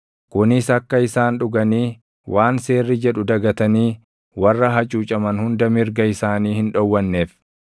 kunis akka isaan dhuganii waan seerri jedhu dagatanii warra hacuucaman hunda mirga isaanii hin dhowwanneef.